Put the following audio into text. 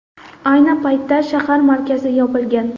Ayni paytda shahar markazi yopilgan.